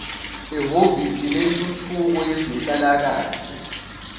ehhovisi lentuthuko yezenhlalakahle